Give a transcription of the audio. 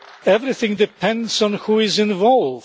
Everything depends on who is involved.